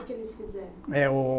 O que eles fizeram? É o